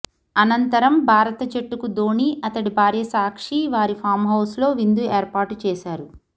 అనంతరం భారత జట్టుకు ధోనీ అతడి భార్య సాక్షి వారి ఫాంహౌస్లో విందు ఏర్పాటు చేశారు